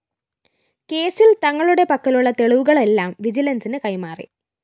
കേസില്‍ തങ്ങളുടെ പക്കലുള്ള തെളിവുകളെല്ലാം വിജിലന്‍സിന് കൈമാറി